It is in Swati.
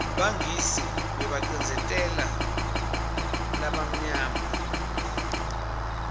bangisi bebabacindzeteu balabamnyama